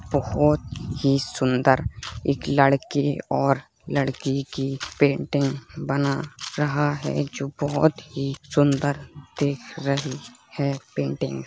बोहोत ही सुंदर एक लड़के और लड़की की पेंटिंग बना रहा है जो बोहोत ही सुंदर दिख रही है पेंटिंग --